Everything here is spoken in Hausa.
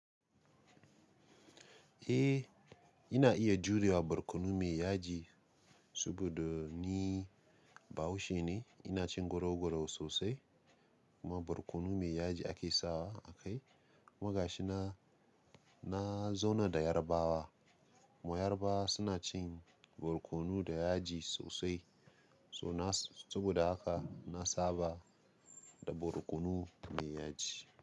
Eh, ina iya jure wa barkono me yaji saboda ni Bahaushe ne. Ina cin goro-goro sosai kuma barkono me yaji ake sawa a kai. Kumagashi na, na zauna da Yarbawa. Kuma Yarbawa suna cin barkono da yaji sosai. So na, saboda haka na saba da barkono me yaji.